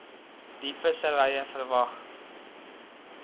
d visserye verwag